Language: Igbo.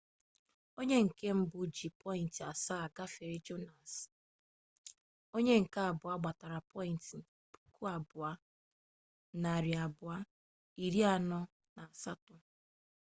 onye nke mbụ ji pọyịnt asaa gafee jọnsịn onye nke abụọ gbatara pọyịnt 2243